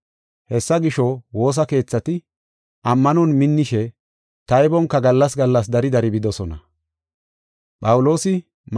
Hessa gisho, woosa keethati ammanon minnishe, taybonka gallas gallas dari dari bidosona.